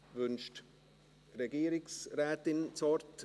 Wünscht die Regierungsrätin das Wort?